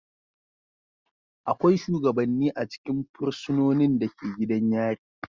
Akwai shugabanni a cikin fursunonin da ke gidan yari.